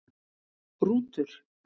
Rútur